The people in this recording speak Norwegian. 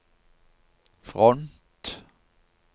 front